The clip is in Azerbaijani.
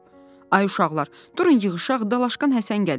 Ay uşaqlar, durun yığışaq, dalaşqan Həsən gəlir.